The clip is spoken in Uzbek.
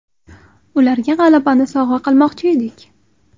Ularga g‘alabani sovg‘a qilmoqchi edik.